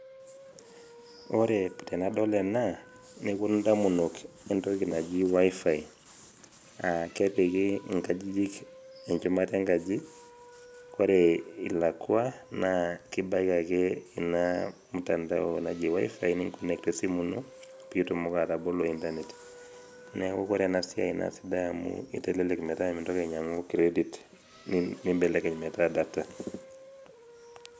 ore tenadol ena neponu damunot entoki naji wifi aa kepiki nkajijik enchumata enkaji, ore elakua naa kibaiki ake ina mutandao, naji wifi ni connect esimu ino. pee itumoki atabolo internet neeku ore ena siai itelelek amu mintoki ainyiang credit nitelelk metaa data.